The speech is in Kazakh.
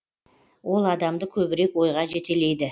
ол адамды көбірек ойға жетелейді